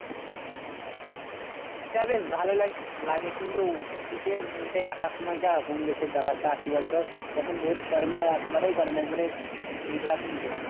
শীতটাই বেশ ভালো লাগে কিন্তু শীতের মধ্যে একা সময়টা হুমকেশে, ব্যাপারটা কি বলতো? যখন রোদ করে না একবারেই করে না একবারে মেঘলা তো মেঘলা।